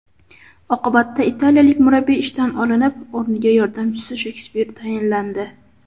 Oqibatda italiyalik murabbiy ishdan olinib, o‘rniga yordamchisi Shekspir tayinlandi.